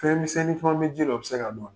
Fɛnmisɛnnin fɔ bɛ ka se ka